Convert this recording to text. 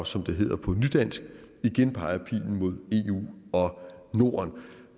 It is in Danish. som det hedder på nydansk igen peger pilen mod eu og norden